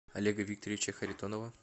олега викторовича харитонова